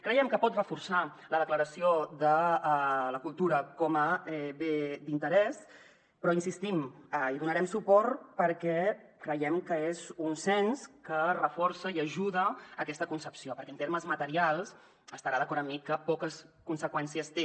creiem que pot reforçar la declaració de la cultura com a bé d’interès però hi insistim hi donarem suport perquè creiem que és un cens que reforça i ajuda a aquesta concepció perquè en termes materials deu estar d’acord amb mi que poques conseqüències té